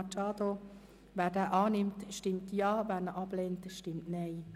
Absatz 7 (neu) zustimmt, stimmt Ja, wer diesen ablehnt, stimmt Nein.